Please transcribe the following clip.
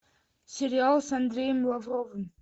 сериал с андреем лавровым